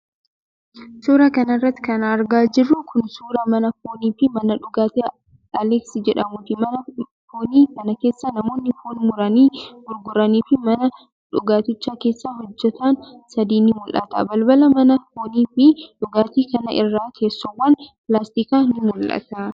Suura kana irratti kan argaa jirru kun, suura mana foonii fi mana dhugaatii aleeks jedhamuuti. Mana foonii kana keessa, namoonni foon muranii gurguranii fi mana dhugaatichaa keessa hojjatan sadi ni mul'atu. Balbala mana foonii fi dhugaatii kana irra teessoowwan pilaastikaa ni mul'atu.